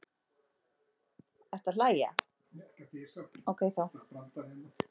Umhverfismat á áhrifum kynorku hefur ekki farið fram svo að okkur sé kunnugt.